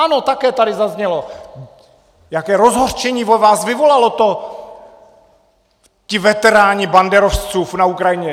Ano, také tady zaznělo, jaké rozhořčení ve vás vyvolalo to... ti veteráni banderovců na Ukrajině.